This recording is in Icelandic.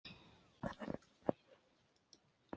Trúði ég honum?